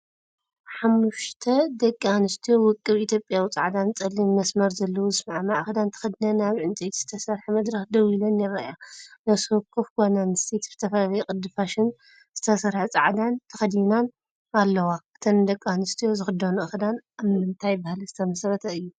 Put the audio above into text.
ሓሙሽተ ደቂ ኣንስትዮ ውቁብ ኢትዮጵያዊ ጻዕዳን ጸሊምን መስመር ዘለዎ ዝሰማማዕ ክዳን ተኸዲነን ኣብ ዕንጨይቲ ዝተሰርሐ መድረኽ ደው ኢለን ይረኣያ። ነፍሲወከፍ ጓል ኣንስተይቲ ብዝተፈላለየ ቅዲ ፋሽን ዝተሰርሐጻዕዳን ተኸዲናን ኣለዋ። እተን ደቂኣንስትዮ ዝኽደንኦ ክዳን ኣብ ምንታይ ባህሊ ዝተመስረተ እዩ?